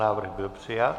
Návrh byl přijat.